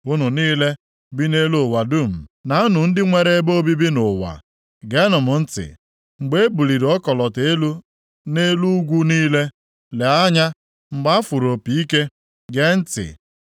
Unu niile bi nʼelu ụwa dum, na unu ndị nwere ebe obibi nʼụwa, geenụ m ntị. Mgbe e buliri ọkọlọtọ elu nʼelu ugwu niile, lee anya; mgbe a fụrụ opi ike, gee ntị.